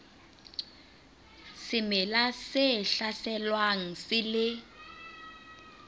semela se hlaselwang se le